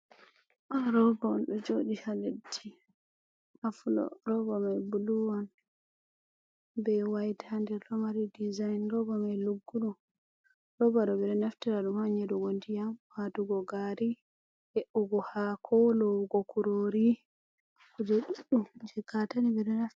Ɗo rooba on ɗon joɗi ha leddi, ha fuɗow, roba mai bulu be wayit ha nder, ɗomari disign, roba mai lugguɗum, roba ɗo ɓeɗon naftira ɗum ha nyeɗugo ndiyam, watugo gari, he'ugo hako lowugo kurori, kuje ɗuɗɗum je katane ɓeɗon naftira.